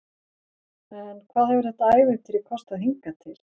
En hvað hefur þetta ævintýri kostað hingað til?